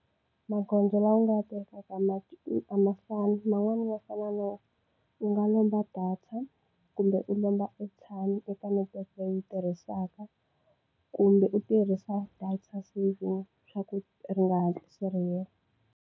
Magondzo lawa u nga wa tekaka a ma fani man'wani ma fana no u nga lomba data kumbe u lomba airtime eka network leyi u yi tirhisaka kumbe u tirhisa data saving swa ku ri nga hatlisi ra hela.